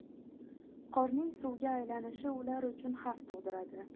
Qorning suvga aylanishi ular uchun xavf tug‘diradi.